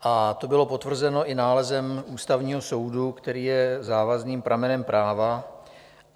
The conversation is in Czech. A to bylo potvrzeno i nálezem Ústavního soudu, který je závazným pramenem práva.